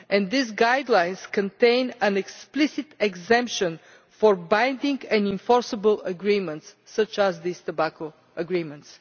These guidelines contain an explicit exemption for binding and enforceable agreements, such as these tobacco agreements.